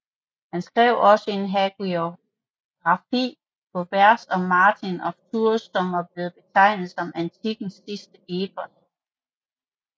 Han skrev også en hagiografi på vers om Martin af Tours som er blevet betegnet som antikkens sidste epos